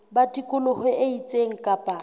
ba tikoloho e itseng kapa